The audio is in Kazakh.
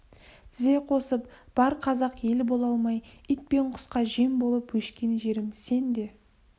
тізе қосып бар қазақ ел бола алмай ит пен құсқа жем болып өшкен жерім сен де